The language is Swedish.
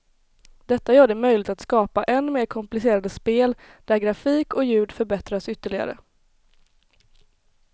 Detta gör det möjligt att skapa än mer komplicerade spel där grafik och ljud förbättras ytterligare.